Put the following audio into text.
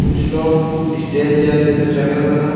कुछ लोग स्टेज जैसे पे चढ़े हुए हैं ।